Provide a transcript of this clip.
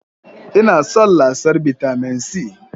Ina son lasar bitamin C